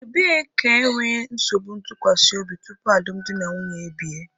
Ebee ka enwere nsogbu ntụkwasị obi tupu alụmdi na nwunye ebie?